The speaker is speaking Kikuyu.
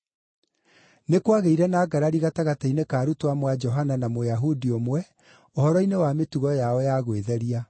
Nĩ kwagĩire na ngarari gatagatĩ-inĩ ka arutwo amwe a Johana na Mũyahudi ũmwe ũhoro-inĩ wa mĩtugo yao ya gwĩtheria.